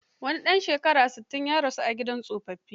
Wani ɗan shekara sittin, ya rasu a gidan tsofaffi.